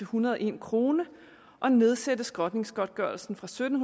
hundrede og en kroner og nedsætte skrotningsgodtgørelsen fra sytten